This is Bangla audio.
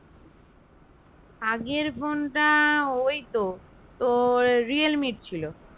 আগের phone টা ঐতো তোর রিয়েলমি র ছিল